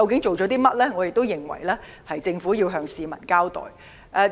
我們認為政府需要向市民交代。